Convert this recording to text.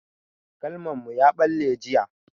Galman mu ya ɓalle jiya.